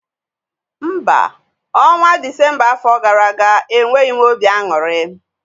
Mba, ọnwa afọ gara aga enyeghị m obi aṅụrị